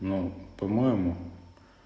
ну по-моему